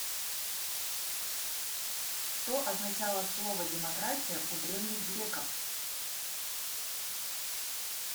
что означало слово демократия у древних греков